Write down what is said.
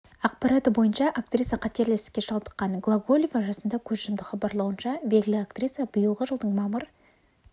ақпараты бойынша актриса қатерлі ісікке шалдыққан глоголева жасында көз жұмды хабарлауынша белгілі актриса биылғы жылдың мамыр